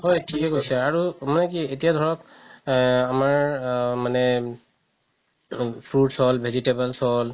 হয় থিকে কৈছে আৰু মানে কি এতিয়া ধৰক আ আমাৰ আ মানে fruits হ'ল vegetables হ'ল